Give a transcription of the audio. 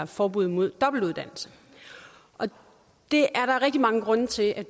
forbud mod dobbeltuddannelse og det er der rigtig mange grunde til at